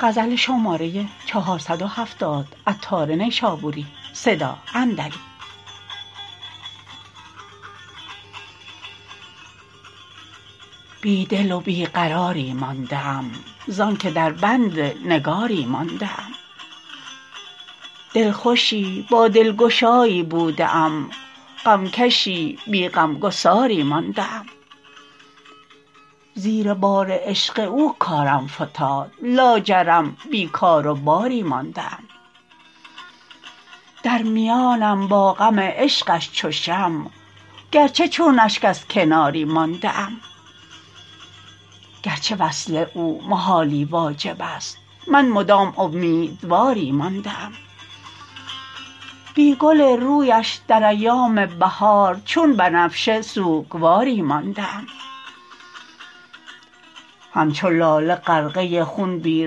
بی دل و بی قراری مانده ام زانکه در بند نگاری مانده ام دلخوشی با دلگشایی بوده ام غم کشی بی غمگساری مانده ام زیر بار عشق او کارم فتاد لاجرم بی کار و باری مانده ام در میانم با غم عشقش چو شمع گرچه چون اشک از کناری مانده ام گرچه وصل او محالی واجب است من مدام امیدواری مانده ام بی گل رویش در ایام بهار چون بنفشه سوکواری مانده ام همچو لاله غرقه خون بی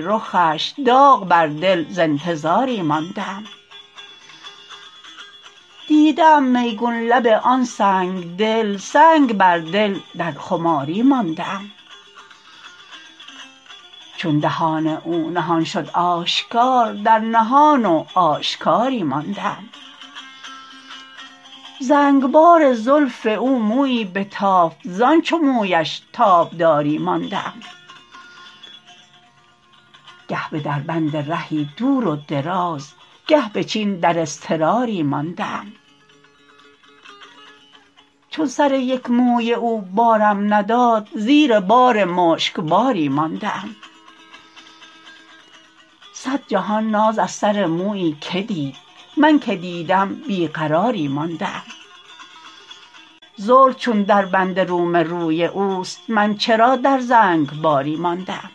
رخش داغ بر دل ز انتظاری مانده ام دیده ام میگون لب آن سنگدل سنگ بر دل در خماری مانده ام چون دهان او نهان شد آشکار در نهان و آشکاری مانده ام زنگبار زلف او مویی بتافت زان چو مویش تابداری مانده ام گه به دربند رهی دور و دراز گه به چین در اضطراری مانده ام چون سر یک موی او بارم نداد زیر بار مشکباری مانده ام صد جهان ناز از سر مویی که دید من که دیدم بیقراری مانده ام زلف چون دربند روم روی اوست من چرا در زنگباری مانده ام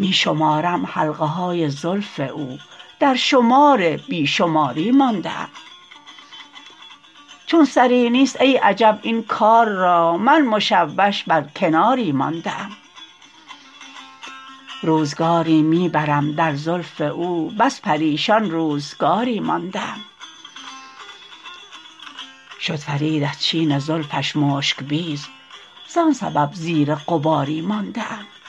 می شمارم حلقه های زلف او در شمار بی شماری مانده ام چون سری نیست ای عجب این کار را من مشوش بر کناری مانده ام روزگاری می برم در زلف او بس پریشان روزگاری مانده ام شد فرید از چین زلفش مشک بیز زان سبب زیر غباری مانده ام